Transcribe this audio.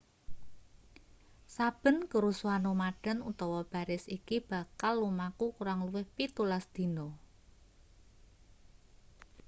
saben kerusuhan nomaden utawa baris iki bakal lumaku kurang luwih 17 dina